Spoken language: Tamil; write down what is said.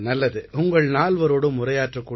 நல்லது உங்கள் நால்வரோடும் உரையாற்றக்